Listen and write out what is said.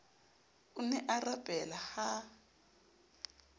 o ne a rapela ha